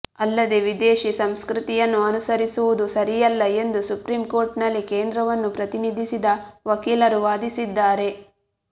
ಅಲ್ಲದೆ ವಿದೇಶಿ ಸಂಸ್ಕೃತಿಂುುನ್ನು ಅನುಸರಿಸುವುದು ಸರಿಂುುಲ್ಲ ಎಂದು ಸುಪ್ರೀಂಕೋರ್ಟ್ನಲ್ಲಿ ಕೇಂದ್ರವನ್ನು ಪ್ರತಿನಿಧಿಸಿದ ವಕೀಲರು ವಾದಿಸಿದ್ದಾರೆ